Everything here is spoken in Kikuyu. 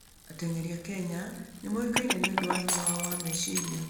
Ateng'eri a Kenya nĩ moĩkaine nĩ ũndũ wa hinya wao wa meciria.